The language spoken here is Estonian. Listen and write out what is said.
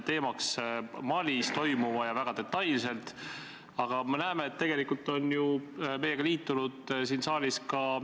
See täpsustus ühtlustab eelnõu teksti sõnastust teiste Kaitseväe osalusega missioonide eelnõude sõnastusega.